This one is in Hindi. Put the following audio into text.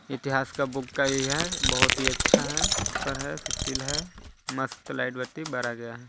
इतिहास का बुक का ई है बहुत ही अच्छा है सुपर है सुशील है मस्त लाइट बत्ती बारा गया है।